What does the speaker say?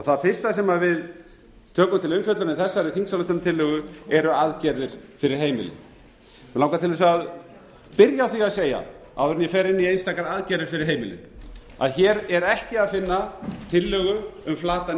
það fyrsta sem við tökum til umfjöllunar í þessari þingsályktunartillögu eru aðgerðir fyrir heimilin mig langar til þess að byrja á því að segja áður en ég fer inn í einstakar aðgerðir fyrir heimilin að hér er ekki að finna tillögu um flatan